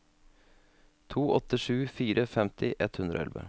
to åtte sju fire femti ett hundre og elleve